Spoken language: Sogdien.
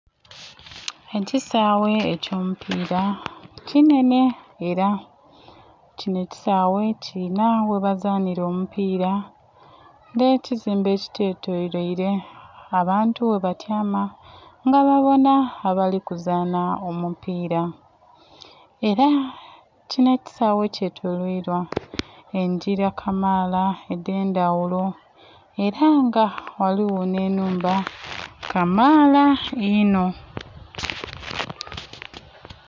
Ekisaaghe eky'omupiira kinhenhe ela, kinho ekisaaghe kilinha ghebazaanhila omupiira nh'ekizimbe ekikyetoloile abaantu ghebatyama nga babonha abali kuzaanha omupiira. Ela kinho ekisaaghe kyetoloilwa engila kamaala edh'endhaghulo, ela nga ghaligho nh'ennhumba kamaala inho.